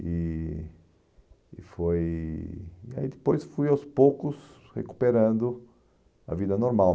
E e foi... e aí depois fui aos poucos recuperando a vida normal.